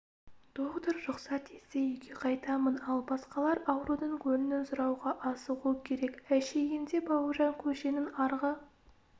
доғдыр рұқсат етсе үйге қайтамын ал басқалар аурудың көңілін сұрауға асығуы керек әшейінде бауыржан көшенің арғы